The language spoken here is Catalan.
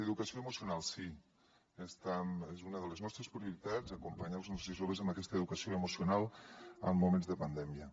educació emocional sí és una de les nostres prioritats acompanyar els nostres joves en aquesta educació emocional en moments de pandèmia